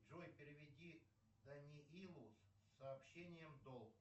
джой переведи даниилу с сообщение долг